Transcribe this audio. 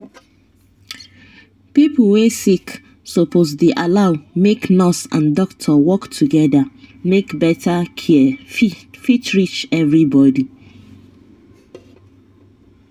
pipo wey sick suppose dey allow make nurse and doctor work together make better care fit reach everybody.